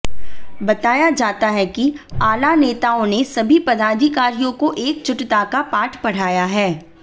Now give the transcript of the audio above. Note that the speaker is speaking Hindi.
बताया जाता है कि आला नेताओं ने सभी पदाधिकारियों को एकजुटता का पाठ पढ़ाया है